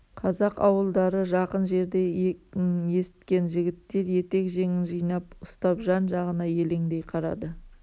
қазақ ауылдары жақын жерде екнін есіткен жігіттер етек-жеңін жинап ұстап жан-жағына елеңдей қарады